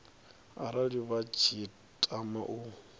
arali vha tshi tama u